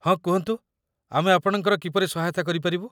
ହଁ, କୁହନ୍ତୁ ଆମେ ଆପଣଙ୍କର କିପରି ସହାୟତା କରି ପାରିବୁ ?